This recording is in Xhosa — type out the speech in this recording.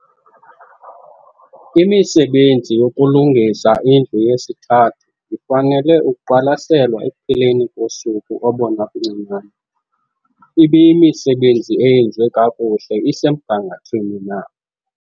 Imisebenzi yokulungisa indlu yesi-3 ifanele ukuqwalaselwa ekupheleni kosuku obona buncinane - ibiyimisebenzi eyenziwe kakuhle, isemgangathweni na?